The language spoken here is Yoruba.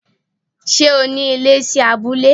Ṣé o ní ilé sí abúlé?